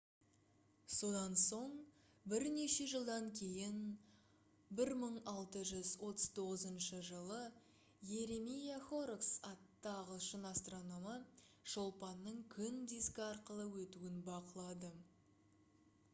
содан соң бірнеше жылдан кейін 1639 жылы йеремия хоррокс атты ағылшын астрономы шолпанның күн дискі арқылы өтуін бақылады